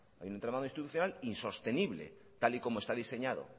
hay un entramado institucional insostenible tal y como está diseñado